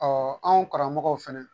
anw karamɔgɔw fɛnɛ